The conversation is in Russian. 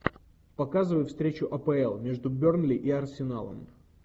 показывай встречу апл между бернли и арсеналом